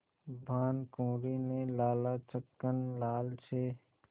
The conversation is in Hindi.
भानकुँवरि ने लाला छक्कन लाल से